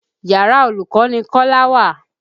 Yàra olùkọ́ ni Kọ́lá wà.